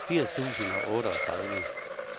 firs tusind og otteogtredive